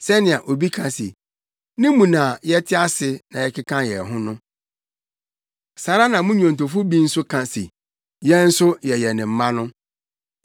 sɛnea obi ka se, ‘Ne mu na yɛte ase na yɛkeka yɛn ho’ no. Saa ara na mo nnwontofo bi nso aka se, ‘Yɛn nso yɛyɛ ne mma’ no.